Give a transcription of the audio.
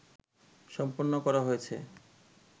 সম্পন্ন করা হয়েছে